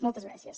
moltes gràcies